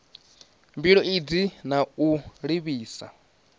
mbilo idzi na u livhisa